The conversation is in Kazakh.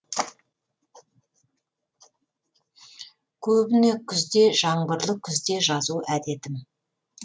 көбіне күзде жаңбырлы күзде жазу әдетім